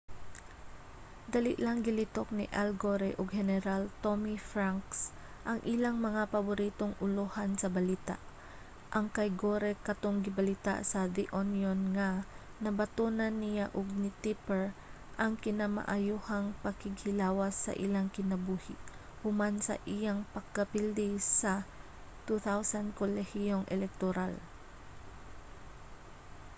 dali lang gilitok ni al gore ug heneral tommy franks ang ilang mga paboritong ulohan sa balita ang kay gore katong gibalita sa the onion nga nabatonan niya ug ni tipper ang kinamaayohang pakighilawas sa ilang kinabuhi human sa iyang pagkapildi sa 2000 kolehiyong elektoral